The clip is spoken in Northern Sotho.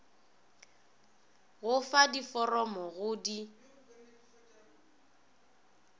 go fa diforomo go di